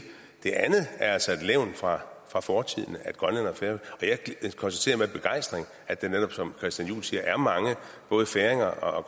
det andet er altså at levn fra fra fortiden og jeg konstaterer med begejstring at der netop som christian juhl siger er mange færinger og